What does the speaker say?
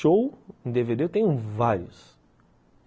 Show, em dê vê dê, eu tenho vários.